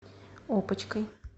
опочкой